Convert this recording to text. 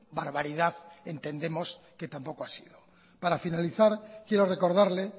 barbaridad entendemos que tampoco ha sido para finalizar quiero recordarle